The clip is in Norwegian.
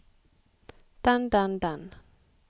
den den den